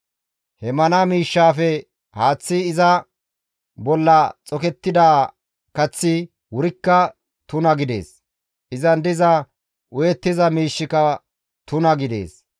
He mana miishshaafe haaththi iza bolla xokettida kaththi wurikka tuna gidees; izan diza uyettiza miishshika tuna gidees.